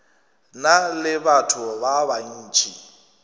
na le batho ba bantši